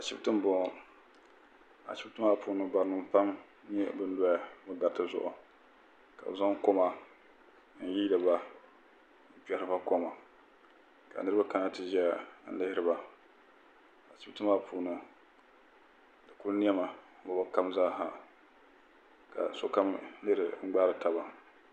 ashɛbitɛni n bɔŋɔ ashɛbitɛni maa puuni barinim pam don doya garitɛ zuɣ Kane zaŋ koma n yiyiba n kpɛhiriba koma ka niriba ka tɛʒɛya n lihiriba ashɛbitɛ maa puuni di kuli nɛmi lugilikam zaasa ka so kam lihiri gbaritaba